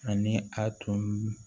Ani a tun